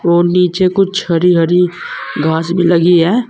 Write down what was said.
और नीचे कुछ हरी हरी घास भी लगी हैं।